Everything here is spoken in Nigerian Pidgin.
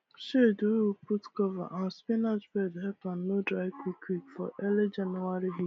shade wey we put cover our spinach bed help am no dry quickquick for early january